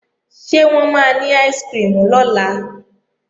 Ṣé wọ́n máa ní áìsikirimù lọ́la?